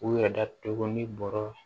U yɛrɛ datugu ni bɔrɔ